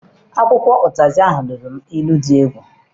Akwụkwọ ụtazị ahụ nuru m inu dị egwu.